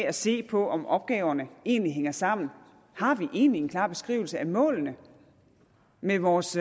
at se på om opgaverne egentlig hænger sammen har vi egentlig en klar beskrivelse af målene med vores